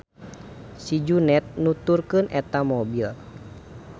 Si Juned nuturkeun eta mobil.